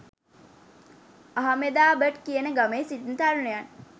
අහ්මෙදාබඩ් කියන ගමේ සිටින තරුණයන්